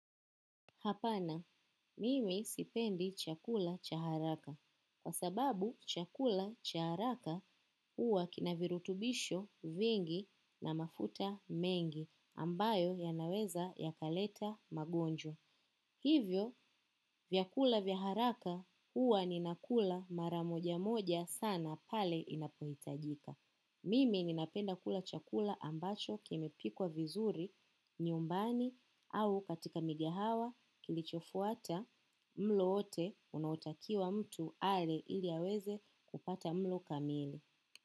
Hapana, mimi sipendi chakula cha haraka. Kwa sababu chakula cha haraka huwa kina virutubisho vingi na mafuta mengi ambayo yanaweza yakaleta magonjwa. Hivyo, vyakula vya haraka huwa ninakula mara moja moja sana pale inapohitajika. Mimi ninapenda kula chakula ambacho kimepikwa vizuri nyumbani au katika midi hawa kilichofuata mlo wote unaotakiwa mtu ale ili aweze kupata mlo kamili.